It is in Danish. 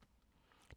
DR K